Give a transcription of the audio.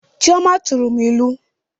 Chioma tụrụ m ilu